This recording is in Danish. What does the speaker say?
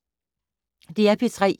DR P3